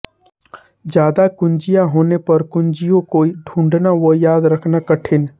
ज्यादा कुंजियाँ होने पर कुंजियों को ढूंढना व याद रखना कठिन